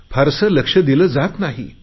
फार लक्ष दिले जात नाही